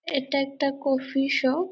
এটা একটা coffee shop.